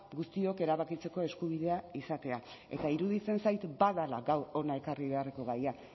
guztiok erabakitzeko eskubidea izatea eta iruditzen zait badela gaur hona ekarri beharreko gaia